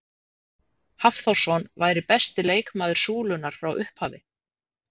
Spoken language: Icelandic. Hafþórsson væri besti leikmaður Súlunnar frá upphafi?